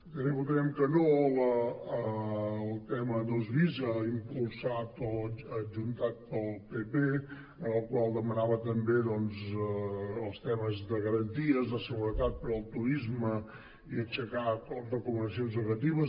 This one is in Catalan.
també votarem que no al tema dos bis impulsat o adjuntat pel pp en el qual demanava també doncs els temes de garanties de seguretat per al turisme i aixecar recomanacions negatives